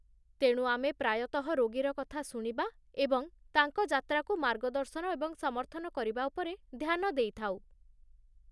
ତେଣୁ ଆମେ ପ୍ରାୟତଃ ରୋଗୀର କଥା ଶୁଣିବା ଏବଂ ତାଙ୍କ ଯାତ୍ରାକୁ ମାର୍ଗଦର୍ଶନ ଏବଂ ସମର୍ଥନ କରିବା ଉପରେ ଧ୍ୟାନ ଦେଇଥାଉ।